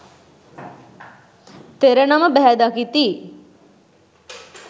තෙර නම බැහැ දකිති.